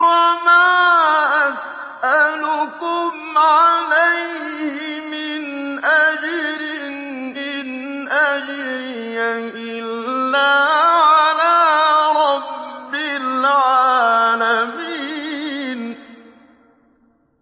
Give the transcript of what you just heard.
وَمَا أَسْأَلُكُمْ عَلَيْهِ مِنْ أَجْرٍ ۖ إِنْ أَجْرِيَ إِلَّا عَلَىٰ رَبِّ الْعَالَمِينَ